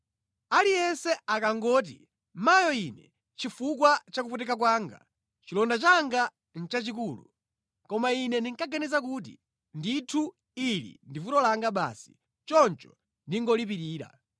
Aliyense ankangoti, “Mayo ine, chifukwa cha kupweteka kwanga! Chilonda changa nʼchachikulu!” Koma ine ndinkaganiza kuti, “Ndithu, ili ndi vuto langa basi, choncho ndingolipirira.”